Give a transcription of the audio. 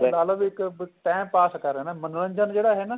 ਲਾ ਲੋ ਵੀ ਇੱਕ time pass ਕਰ ਰਹੇ ਏ ਨਾ ਮਨੋਰੰਜਨ ਜਿਹੜਾ ਹੈ ਨਾ